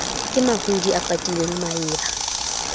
ke mahodi a patile maeba